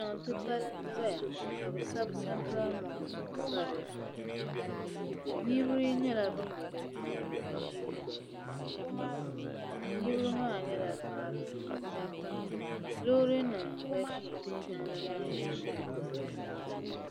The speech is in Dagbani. Ti titali nʒaya ka o sabi santral mɔks n pa dizuɣu. niribi nyɛla ban be di puuni. ni di yiŋa. nirinbi maa nyɛla paɣaba ni daba. lɔɔrinim gbaʒi jiŋli maa nyaaŋa